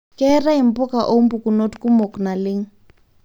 keetae mbuka oombukunot kumok naleng